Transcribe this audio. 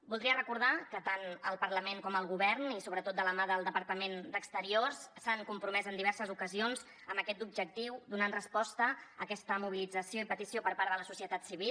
voldria recordar que tant el parlament com el govern i sobretot de la mà del departament d’acció exterior s’han compromès en diverses ocasions amb aquest objectiu donant resposta a aquesta mobilització i petició per part de la societat civil